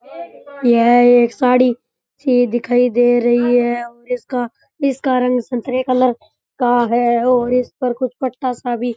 यह एक साड़ी सी दिखाई दे रही है और इसका इसका रंग संतरे कलर का का है और इस्पे कुछ पत्ता सा भी।